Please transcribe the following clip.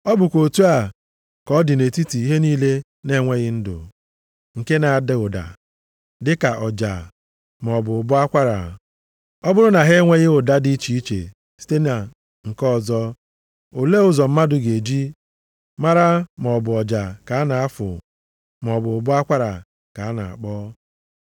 Ọ bụkwa otu a ka ọ dị nʼetiti ihe niile na-enweghị ndụ, nke na-ada ụda, dịka ọja, maọbụ ụbọ akwara. Ọ bụrụ na ha enyeghị ụda dị iche site na nke ọzọ, olee ụzọ mmadụ ga-eji mara maọbụ ọja ka a na-afụ, maọbụ ụbọ akwara ka a na-akpọ.